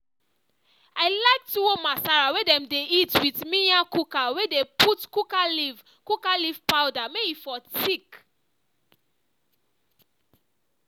i like tuwo masara wey dem dey eat with miyan kuka wey dey put kuka leaf kuka leaf powder may e for thick